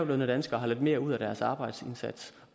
danskere har lidt mere ud af deres arbejdsindsats